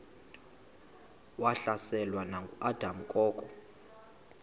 wahlaselwa nanguadam kok